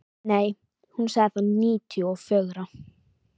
Nei, hún sagði níutíu og fjögra.